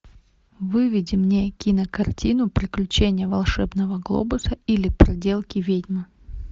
выведи мне кинокартину приключения волшебного глобуса или проделки ведьмы